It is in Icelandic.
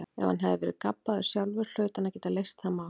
Ef hann hafði verið gabbaður sjálfur hlaut hann að geta leyst það mál.